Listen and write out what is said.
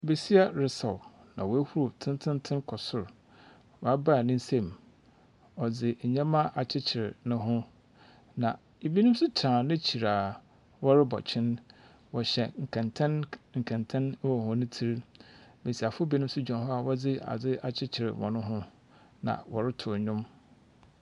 Besia resaw, na oehuru tsentsentsen kɔ sor. Ɔabaa ne nsamu. Ɔdze ndzɛmba akyekyer noho, na binom nso tsena n'ekyir a wɔrobɔ kyen. Wɔhyɛ nkɛntɛn . Nkɛntɛn wɔ hɔn tsir do. Mbesiafo binom nso gyina hɔ a wɔdze adze akyekyer hɔn ho na ndowm.